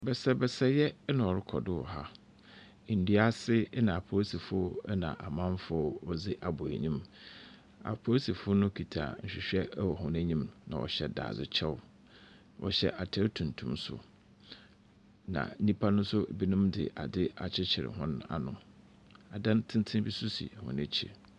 Basabasayɛ na ɔrokɔ do hɔ ha. Ndua ase na aporisifo na amamfo wɔdze abɔ enyim. Aporisifo no kitsa nhwehwɛ wɔ hɔn enyim na wɔhyɛ dadzekyɛw. Wɔhyɛ atar tuntum so. Na nyimpa no so dze adze akyekyer hɔn ano. Adan tsentsen bi so hɔn ekyir.